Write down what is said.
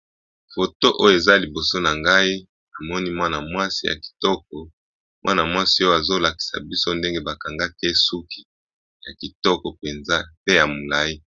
Foto oyo eza liboso na ngai namoni mwana mwasi ya kitoko azo lakisa biso ndenge ba bongisi ye suki ya kitoko pe ya molayi.